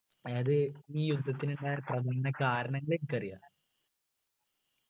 അതായത് ഈ യുദ്ധത്തിന് ഉണ്ടായ പ്രധാന കാരണങ്ങൾ എനിക്കറിയാ